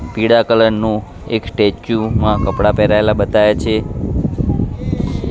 પીડા કલર નુ એક સ્ટેચ્યુ મા કપડા પેહરાવેલા બતાયા છે.